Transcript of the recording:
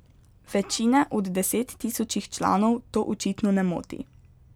Večine od desettisočih članov to očitno ne moti.